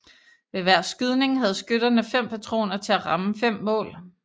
Ved hver skydning havde skytterne fem patroner til at ramme fem mål